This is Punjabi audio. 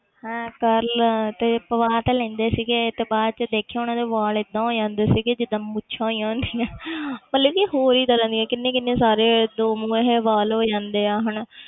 ਹੈਂ curl ਤੇ ਪਵਾ ਤਾਂ ਲੈਂਦੇ ਸੀਗੇ ਤੇ ਬਾਅਦ 'ਚ ਦੇਖੀ ਉਹਨਾਂ ਦੇ ਵਾਲ ਏਦਾਂ ਹੋ ਜਾਦੇ ਸੀਗੇ ਜਿੱਦਾਂ ਮੁੱਛਾਂ ਹੋਈਆਂ ਹੁੰਦੀਆਂ ਮਤਲਬ ਵੀ ਹੋਰ ਹੀ ਤਰ੍ਹਾਂ ਦੀਆਂ ਕਿੰਨੇ ਕਿੰਨੇ ਸਾਰੇ ਦੋ ਮੂੰਹੇ ਵਾਲ ਹੋ ਜਾਂਦੇ ਆ ਹਨਾ।